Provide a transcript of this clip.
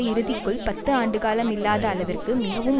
இறுதிக்குள் பத்து ஆண்டுகாலம் இல்லாத அளவிற்கு மிகவும்